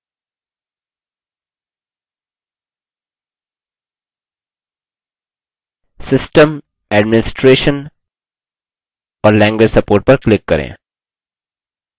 system administration और language support पर click करें